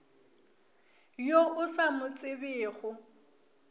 yo o sa mo tsebego